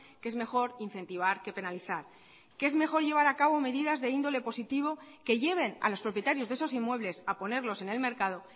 que es mejor incentivar que penalizar que es mejor llevar a cabo medidas de índole positivo que lleven a los propietarios de esos inmuebles a ponerlos en el mercado